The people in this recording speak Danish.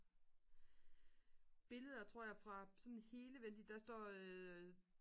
billeder tror jeg fra sådan hele vent lige der står